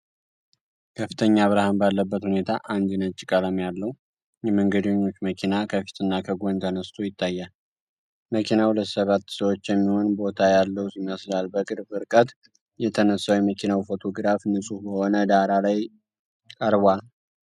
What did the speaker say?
ከፍተኛ ብርሃን ባለበት ሁኔታ አንድ ነጭ ቀለም ያለው የመንገደኞች መኪና ከፊትና ከጎን ተነስቶ ይታያል። መኪናው ለሰባት ሰዎች የሚሆን ቦታ ያለው ይመስላል። በቅርብ ርቀት የተነሳው የመኪናው ፎቶግራፍ ንጹሕ በሆነ ዳራ ላይ ቀርቧል።